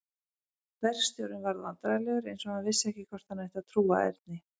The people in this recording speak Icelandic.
Verkstjórinn varð vandræðalegur eins og hann vissi ekki hvort hann ætti að trúa Erni.